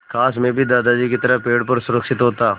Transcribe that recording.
काश मैं भी दादाजी की तरह पेड़ पर सुरक्षित होता